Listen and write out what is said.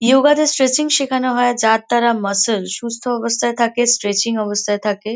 Yoga তে stretching শেখানো হয় যার দ্বারা মাসেল সুস্থ অবস্থায় থাকে স্ট্রেচিং অবস্থায় থাকে।